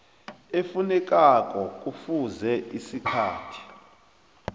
efunekako kufuze isikhathi